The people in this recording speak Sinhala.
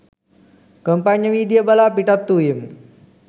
කොම්පඤ්ඤවීදිය බලා පිටත්වූයෙමු